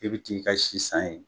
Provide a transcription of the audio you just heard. E bɛ t' i ka si san ye.